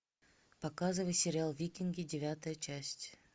показывай сериал викинги девятая часть